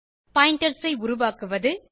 pointers ஐ உருவாக்குவது